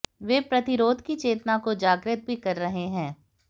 वे प्रतिरोध की चेतना को जागृत भी कर रहे हैं